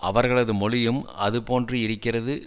அவர்களது மொழியும் அது போன்று இருக்கிறது